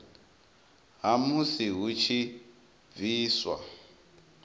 ha musi hu tshi bviswa